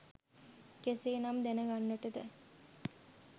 කෙසේනම් දැනගන්ට ද?